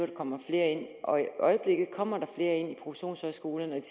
der kommer flere ind i øjeblikket kommer der flere ind på produktionshøjskolerne ikke